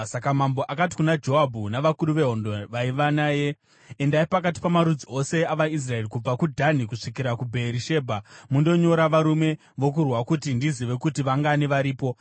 Saka mambo akati kuna Joabhu navakuru vehondo vaiva naye, “Endai pakati pamarudzi ose avaIsraeri kubva kuDhani kusvikira kuBheerishebha mundonyora varume vokurwa, kuti ndizive kuti vangani varipo.”